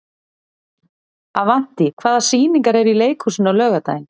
Avantí, hvaða sýningar eru í leikhúsinu á laugardaginn?